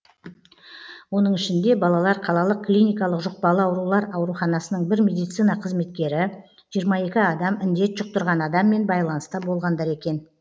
оның ішінде балалар қалалық клиникалық жұқпалы аурулар ауруханасының бір медицина қызметкері жиырма екі адам індет жұқтырған адаммен байланыста болғандар екен